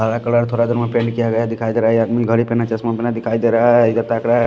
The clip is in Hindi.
हरा कलर थोड़ा पैंट किया गया है दिखाई दे रहा है घड़ी पे ना चश्मा बना दिखाई दे रहा है इधर ।